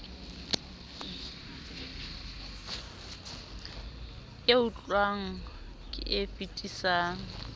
e tlotlwang ke e fetisang